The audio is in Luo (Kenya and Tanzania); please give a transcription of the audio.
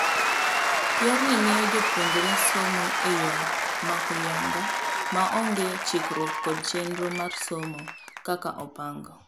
Yorni miyo jopuonjre somo eyoo mohuyanga maonge chikruok kod chenro mar somo kaka opang.